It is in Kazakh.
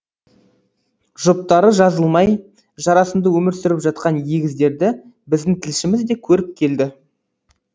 жұптары жазылмай жарасымды өмір сүріп жатқан егіздерді біздің тілшіміз де көріп келді